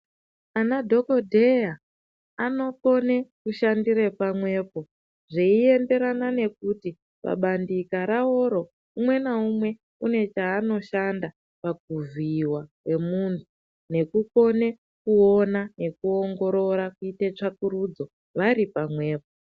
Ana dhokodheya anokone kushandire pamwepo zveienderana nekuti pabandika raworo umwe naumwe une chaanoshanda pakuvhiiwa kwemuntu nekukone kuona nekuongorora kuite tsvakurudzo vari pamwepo.